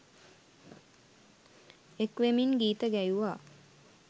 එක් වෙමින් ගීත ගැයුවා